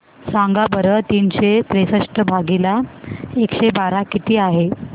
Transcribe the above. सांगा बरं तीनशे त्रेसष्ट भागीला एकशे बारा किती आहे